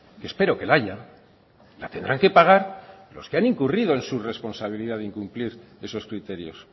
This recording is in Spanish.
que espero que la haya la tendrán que pagar los que han incurrido en sus responsabilidades de incumplir esos criterios